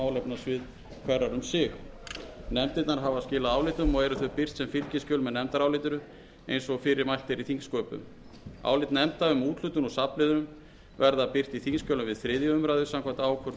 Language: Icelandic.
sig nefndirnar hafa skilað álitum og eru þau birt sem fylgiskjöl með nefndarálitinu eins og fyrir er mælt í þingsköpum álit nefnda um úthlutun úr safnliðum verða birt í þingskjölum við þriðju umræðu samkvæmt ákvörðun